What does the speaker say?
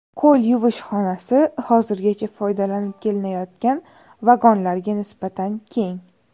Qo‘l yuvish xonasi hozirgacha foydalanib kelinayotgan vagonlarga nisbatan keng.